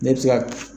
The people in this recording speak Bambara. Ne bɛ se ka